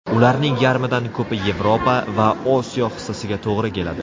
Ularning yarmidan ko‘pi Yevropa va Osiyo hissasiga to‘g‘ri keladi.